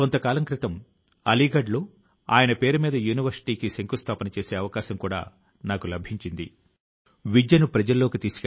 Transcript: రండి స్వాతంత్య్ర సంగ్రామం యొక్క మహనీయుల నుంచి ప్రేరితులం అవుతూ ఉందాం దేశం కోసం మన ప్రయాసల ను మరింత గా పటిష్టపరుస్తూ ఉందాం